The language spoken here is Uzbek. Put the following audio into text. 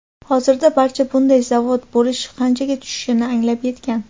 Hozirda barcha bunday zavod bo‘lish qanchaga tushishini anglab yetgan.